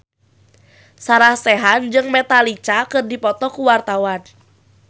Sarah Sechan jeung Metallica keur dipoto ku wartawan